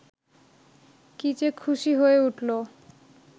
কী-যে খুশি হয়ে উঠল